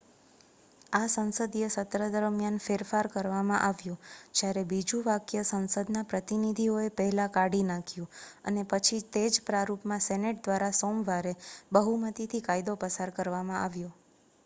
આ સંસદીય સત્ર દરમિયાન ફેરફાર કરવામાં આવ્યો જ્યારે બીજું વાક્ય સંસદના પ્રતિનિધિઓએ પહેલાં કાઢી નાખ્યું અને પછી તે જ પ્રારૂપમાં સેનેટ દ્વારા સોમવારે બહુમતીથી કાયદો પસાર કરવામાં આવ્યો